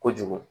Kojugu